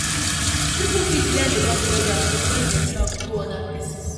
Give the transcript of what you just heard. Pipo fit learn about their geography when dem travel go oda places